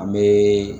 An bɛ